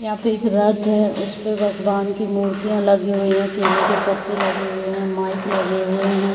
यहाँ पे एक रथ है उस पे भगवान की मुर्तिया लगी हुई है केले के पत्ते लगे हुए है माइक लगे हुए है।